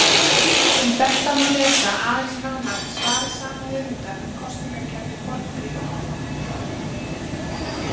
Um þetta má lesa aðeins nánar í svari sama höfundar um kosningakerfi Forngrikkja.